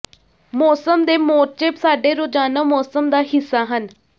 ਮੌਸਮ ਦੇ ਮੋਰਚੇ ਸਾਡੇ ਰੋਜ਼ਾਨਾ ਮੌਸਮ ਦਾ ਹਿੱਸਾ ਹਨ